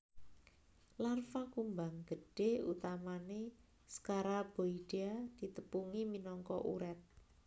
Larva kumbang gedhé utamané Scaraboidea ditepungi minangka uret